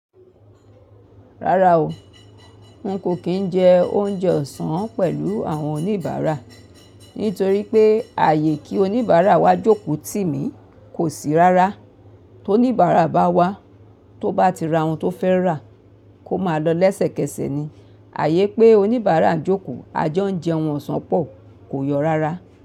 Rárá o, n kò kín jẹ oúnjẹ ọ̀sán pẹ̀lú àwọn oníbàárà nítorí pé ààyè kí oníbàárà wá jókòó tì mí kò sí rárá. Tó oníbàárà bá wá, tó bá ti ra ohun tó fẹ́ rà, kó máa lọ́ lẹ́sẹ̀kẹsẹ̀ ni. Ààyè pé oníbàárà ń jókòó, ajọ ń jẹun ọ̀sán pọ̀ kò yọ̀ rárá.